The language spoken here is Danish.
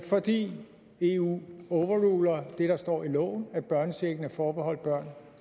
fordi eu overruler det der står i loven nemlig at børnechecken er forbeholdt børn